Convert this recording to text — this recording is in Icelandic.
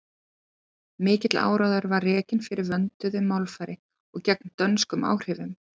mikill áróður var rekinn fyrir vönduðu málfari og gegn dönskum áhrifum